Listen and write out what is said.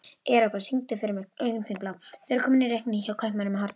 Eragon, syngdu fyrir mig „Augun þín blá“.